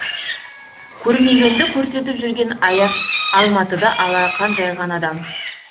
көрмегенді көрсетіп жүрген аяқ алматыда алақан жайған адам